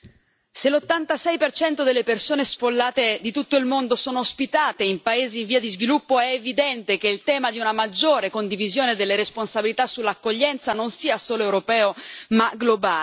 Signor Presidente, onorevoli colleghi, se l'86 delle persone sfollate di tutto il mondo sono ospitate in paesi in via di sviluppo, è evidente che il tema di una maggiore condivisione delle responsabilità sull'accoglienza non sia solo europeo ma globale.